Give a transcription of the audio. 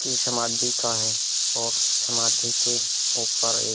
की समाधि का है और समाधि के ऊपर एक --